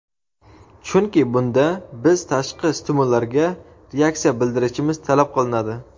chunki bunda biz tashqi stimullarga reaksiya bildirishimiz talab qilinadi.